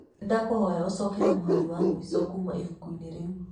ndakuhoya ũcokere mũhari wa mũico kuuma ibuku-inĩ rĩu.